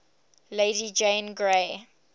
lady jane grey